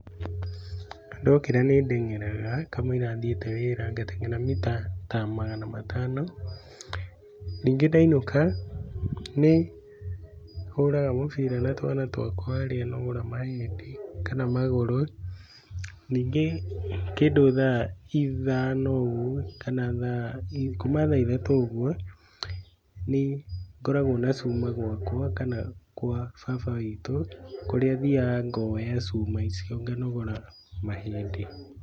Ndokĩra nĩndeng'eraga kamũira thiĩte wĩra ngateng'era ta mita magana matano ningĩ ndainũka nĩhũraga mũbira na twana twakwa arĩ nogore mahĩndĩ kana magũrũ ningĩ kĩndũ thaa ithano ũguo kana kuma thaa ithatũ ũguo nĩngoragwo na cuma gwakwa kana gwa baba witũ kũrĩa thiaga ngoya cuma icio nganogora mahĩndĩ.